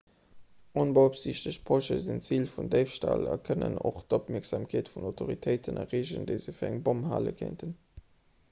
onbeopsiichtegt posche sinn zil vun déifstall a kënnen och d'opmierksamkeet vun autoritéiten erreegen déi se fir eng bomm hale kéinten